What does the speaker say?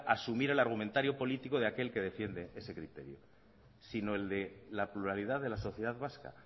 asumir el argumentario político de aquel que defiende ese criterio sino el de la pluralidad de la sociedad vasca